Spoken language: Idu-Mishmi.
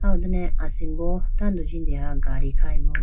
ah ho done asimbo jindeha gadi khayi bo.